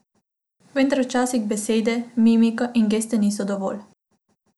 Vendar včasih besede, mimika in geste niso dovolj.